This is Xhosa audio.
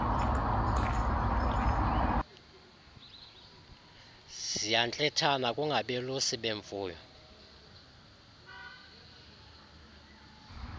ziyantlithana kungabelusi bemfuyo